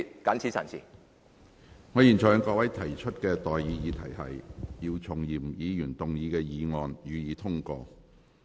我現在向各位提出的待議議題是：姚松炎議員動議的議案，予以通過。